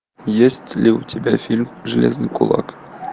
есть ли у тебя фильм железный кулак